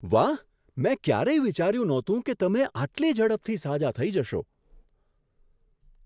વાહ! મેં ક્યારેય વિચાર્યું નહોતું કે તમે આટલી ઝડપથી સાજા થઈ જશો.